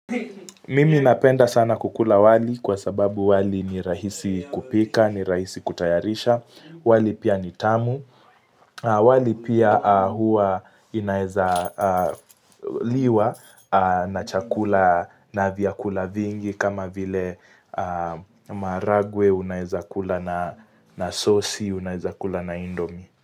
Mimi napenda sana kukula wali kwasababu wali ni rahisi kupika, ni rahisi kutayarisha, wali pia nitamu, wali pia huwa inaeza liwa na chakula na vyakula vingi kama vile maharagwe, unaeza kula na sossi, unaeza kula na indomi.